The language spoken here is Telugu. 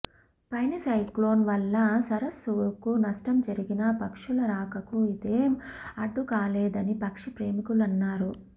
ఫణి సైక్లోన్ వల్ల సరస్సుకు నష్టం జరిగినా పక్షుల రాకకు ఇదేం అడ్డుకాలేదని పక్షి ప్రేమికులన్నారు